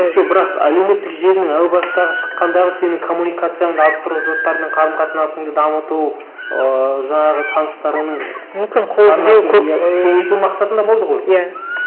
жоқ бірақ әлеуметтік желінің әу бастағы шыққандағы сенің коммуникацияңды арттыру жұрттармен қарым қатынасыңды дамыту ыыы жаңағы таныстарыңның мүмкін кеңейту мақсатында болды ғой иә